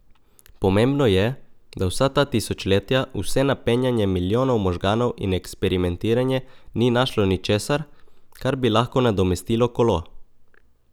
Pomembno je, da vsa ta tisočletja vse napenjanje milijonov možganov in eksperimentiranje ni našlo ničesar, kar bi lahko nadomestilo kolo.